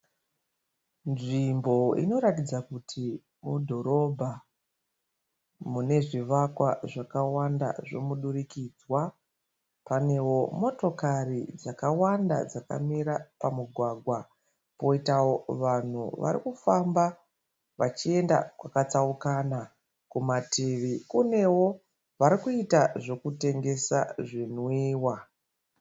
Nzvimbo inoratidza kuti mudhorobha. Mune zvivakwa zvakawanda zvemudurikidzwa. Panewo motokari dzakawanda dzakamira pamugwagwa. Poitawo vanhu vari kufamba vachienda kwakatsaukana. Kumativi kunewo varikuita zvekutengesa zvinwiwa.